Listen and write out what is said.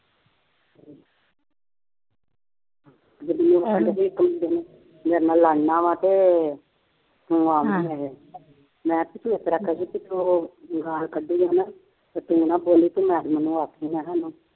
ਮੇਰੇ ਨਾਲ ਲੜਨਾ ਵਾ ਤੇ, ਹੁਣ ਆਪ ਨਹੀਂ ਆ ਰਿਹਾ, ਮੈਂ ਤਾਂ ਵੀ ਆਖਿਆ ਸੀ ਕਿ ਉਹ ਗਾਲ ਕੱਢੀ ਹੈ ਨਾ, ਅਤੇ ਤੂੰ ਨਾ ਬੋਲੀ ਮੈਂ ਉਹਨਾ ਨੂੰ ਆਪੇ ਹੀ ਕਹਿਣਾ ਵਾ,